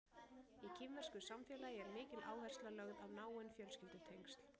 Í kínversku samfélagi er mikil áhersla lögð á náin fjölskyldutengsl.